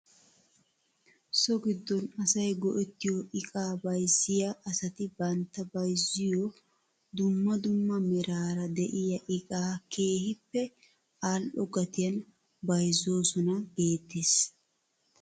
So giddon asay go'ettiyoo iqaa bayzziyaa asati bantta bayzziyoo dumma dumma meraara de'iyaa iqaa keehippe al"o gatiyan bayzoosona geettes .